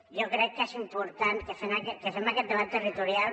jo crec que és important que fem aquest debat territorial